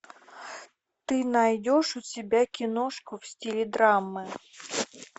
ты найдешь у себя киношку в стиле драмы